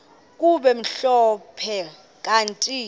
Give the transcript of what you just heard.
kube mhlophe kanti